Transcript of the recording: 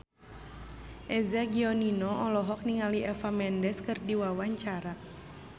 Eza Gionino olohok ningali Eva Mendes keur diwawancara